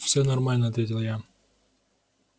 всё нормально ответил я